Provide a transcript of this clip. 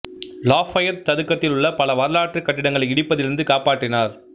Lafayette சதுக்கத்தில் உள்ள பல வரலாற்றுக் கட்டிடங்களை இடிப்பதிலிருந்து காப்பாற்றினார்